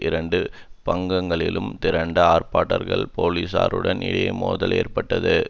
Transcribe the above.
இரண்டு பங்கங்களிலும் திரண்ட ஆர்ப்பாட்டக்காரர்களுக்கும் போலீஸாருக்கும் இடையே மோதல் ஏற்பட்டது